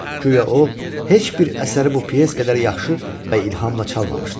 Guya o, heç bir əsəri bu pyes qədər yaxşı və ilhamla çalmamışdı.